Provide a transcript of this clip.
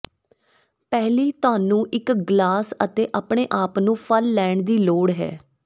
ਪਹਿਲੀ ਤੁਹਾਨੂੰ ਇੱਕ ਗਲਾਸ ਅਤੇ ਆਪਣੇ ਆਪ ਨੂੰ ਫਲ ਲੈਣ ਦੀ ਲੋੜ ਹੈ